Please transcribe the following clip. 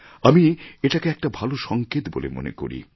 আমি এটাকে একটা ভালো সংকেত বলে মনে করি